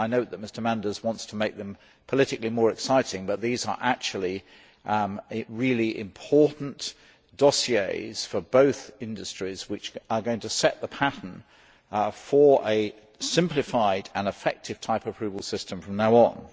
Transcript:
I note that Mr Manders wants to make them politically more exciting, but these are actually really important dossiers for both industries which are going to set the pattern for a simplified and effective type approval system from now on.